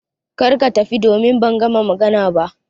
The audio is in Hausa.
Kada ka tafi, domin ban gama magana ba